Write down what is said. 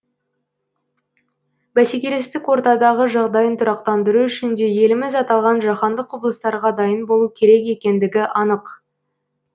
бәсекелестік ортадағы жағдайын тұрақтандыру үшін де еліміз аталған жаһандық құбылыстарға дайын болу керек екендігі анық